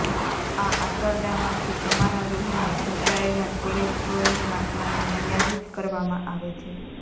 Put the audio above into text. આ આંતરડામાંથી તમારા લોહીમાં શોષાયેલા કોલેસ્ટ્રોલની માત્રાને મર્યાદિત કરવામાં મદદ કરે છે